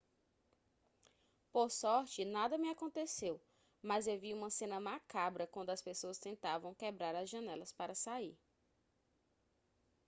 por sorte nada me aconteceu mas eu vi uma cena macabra quando as pessoas tentavam quebrar as janelas para sair